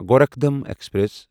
Gorakhdham express